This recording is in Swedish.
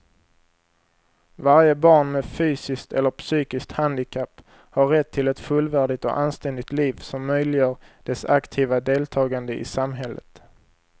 Varje barn med fysiskt eller psykiskt handikapp har rätt till ett fullvärdigt och anständigt liv som möjliggör dess aktiva deltagande i samhället.